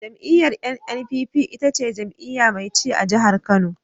Jam'iyyar NNPP ita ce jam'iyya mai ci a jihar Kano.